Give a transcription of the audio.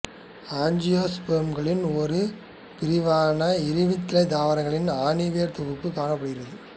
ஆஞ்சியோஸ்போர்ம்களின் ஒரு பிரிவான இருவித்திலை தாவரத்தில் ஆணிவேர் தொகுப்பு காணப்படுகிறது